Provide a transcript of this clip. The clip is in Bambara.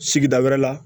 Sigida wɛrɛ la